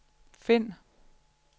find